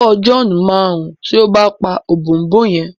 owó John má run tí o bá pá Ọ̀bọ̀ọ̀nbọọ̀n yén.